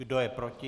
Kdo je proti?